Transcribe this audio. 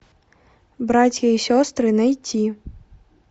братья и сестры найти